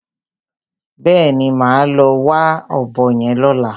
Bẹ́ẹ̀ni, màá lọ wá ọ̀bọ yẹn lọ́la.